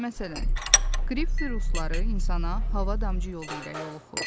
Məsələn, qrip virusları insana hava damcı yolu ilə yoluxur.